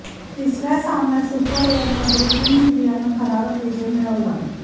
तिसऱ्या सामन्यात सुपर ओव्हरमध्ये टीम इंडियानं थरारक विजय मिळवला